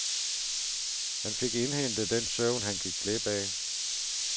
Han fik indhentet den søvn, han gik glip af.